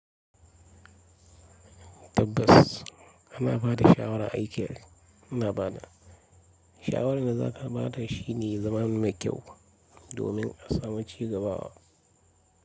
Tabbas ana ba da shawara aiki ana ba da shawara da za ka ba da shi ne zaman mai kyau domin a samu ci gaba.